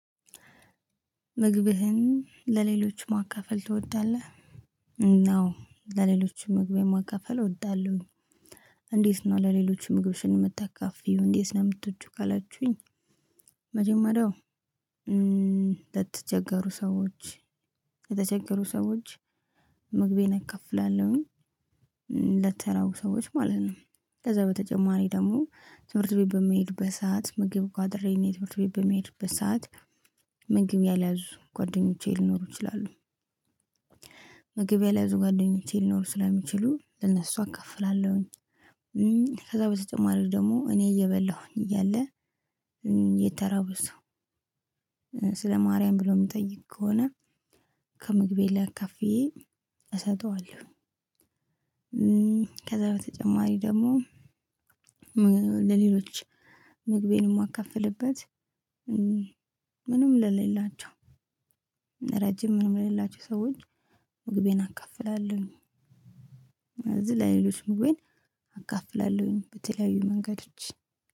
ምግብህን ለሌሎች ማካፈል ትወዳለህ? እ አዎ ለሌሎች ምግብ የማካፈል እወዳለሁኝ። እንዴት ነው ለሌሎች ምግብሽን የምታካፍይው እንዴት ነው የምትወጂው? ካላችሁኝ የ መጀመሪያው እ ለተቸገሩ ሰዎች ምግቤን እከፍላለሁኝ። ለተራቡ ሰዎች ማለት ነው። ከዛ በተጨማሪ ደግሞ ትምህርት ቤት በመሄድበት ሰዓት ምግብ ቁአጥሬ ትምህርት ቤት በመሄድበት በሰአት ምግብ ያላያዙ ጓደኞቼ ሊኖሩ ይችላሉ። ምግብ ያላያዙ ጓደኞቼ ሊኖሩ ስለሚችሉ ለእነሱ አከፍላለሁኝ። እ ከዛ በተጨማሪ ደግሞ እኔ እየበላሁኝ እያለ የተራበ ሰው ስለ ማርያም ብሎ የሚጠይቅ ከሆነ ከምግቤ ላይ አካፍዬ እሰጠዋለሁ። ከዛ በተጨማሪ ደግሞ ለሌሎች ምግቤን የማከፍልበት። ምንም ለሌላቸው ረጂም ምንም ለሌላቸው ሰዎች ምግቤን እካፍላለሁኝ። ስለዚህ ለሌሎች ምግቤን አካፍላለሁኝ በተለያዩ መንገዶች